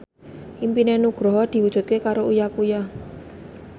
impine Nugroho diwujudke karo Uya Kuya